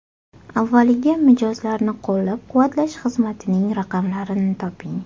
Avvaliga mijozlarni qo‘llab-quvvatlash xizmatining raqamlarini toping.